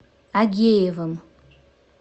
агеевым